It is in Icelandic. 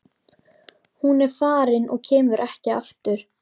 Hún er farin og kemur ekki aftur.